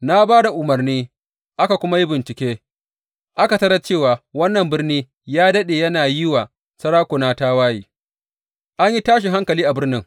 Na ba da umarni aka kuma yi bincike, aka tarar cewa wannan birni ya daɗe yana yi wa sarakuna tawaye, an yi tashin hankali a birnin.